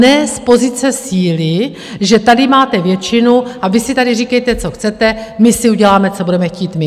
Ne z pozice síly, že tady máte většinu a vy si tady říkejte, co chcete, my si uděláme, co budeme chtít my.